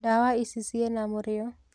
Ndawa ici ciana mũrĩo.